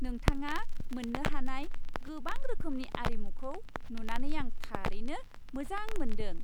नोंथाङा मोन्नो हानाय गोबां रोखोमनि आरिमुखौ नुनानै आं थारैनो मोजां मोन्दों।